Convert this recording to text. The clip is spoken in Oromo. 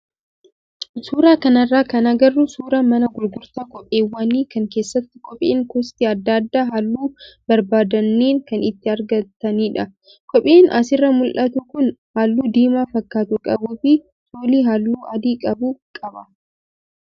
Suuraa kanarraa kan agarru suuraa mana gurgurtaa kopheewwanii kan keessatti kopheen gosti adda addaa halluu barbaadneen kan itti argatanidha. Kopheen asirraa mul'atu kun halluu diimaa fakkaatu qabuu fi soolii halluu adii qabu qaba.